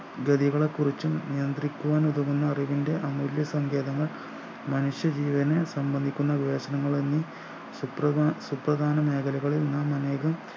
ഗതികളെക്കുറിച്ചും നിയന്ത്രിക്കുവാൻ ഒതുങ്ങുന്ന അറിവിൻ്റെ അമൂല്യ സങ്കേതങ്ങൾ മനുഷ്യ ജീവന് സമ്മന്ദിക്കുന്ന വേഷങ്ങളെന്നി സുപ്ര സുപ്രദാന മേഖലകളിൽ നാം അനേകം